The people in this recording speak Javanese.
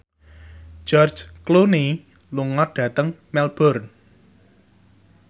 George Clooney lunga dhateng Melbourne